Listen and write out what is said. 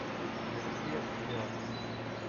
мертвец идет